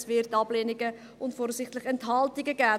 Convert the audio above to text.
Es wird Ablehnungen und voraussichtlich Enthaltungen geben.